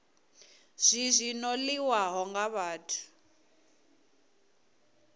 zwi zwi ṱoḓiwaho nga vhathu